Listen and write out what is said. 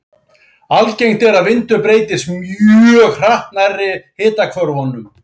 Algengt er að vindur breytist mjög hratt nærri hitahvörfunum.